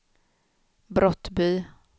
Brottby